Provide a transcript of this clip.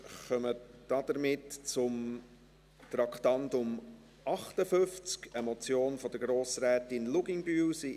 Damit kommen wir zum Traktandum 58, einer Motion von Grossrätin Luginbühl.